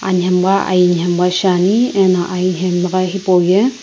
anamgha aie namgha shae ne ano anamgha hipou ye.